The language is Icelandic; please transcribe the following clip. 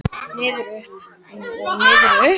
Niður, upp og niður og upp.